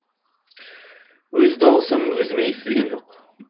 өз дауысым өзіме естілген жоқ